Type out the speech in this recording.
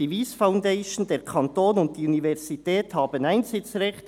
Die Wyss Foundation, der Kanton und die Universität haben Einsitzrecht.